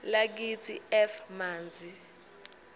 lakithi f manzi